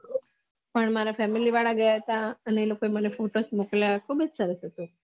પણ મારા ફમિલી વાળા ગયા હતા અને એ લોકો એ મને ફોકસ મોકલ્યા જ્હુબ્જ સરસ હતું